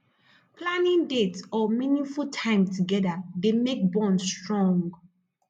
planning dates or meaningful time together dey make bond strong